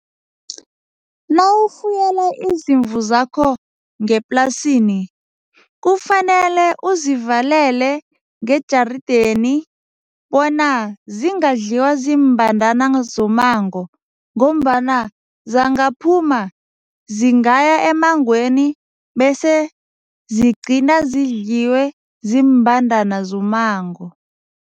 Nawufuyela izimvu zakho ngeplasini kufanele uzivalele ngejarideni bona zingadliwa ziimbandana zommango ngombana zangaphuma, zingaya emmangweni bese zigcine zidliwe ziimbandana zommango.